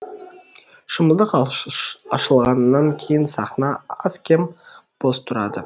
шымылдық ашылғаннан кейін сахна аз кем бос тұрады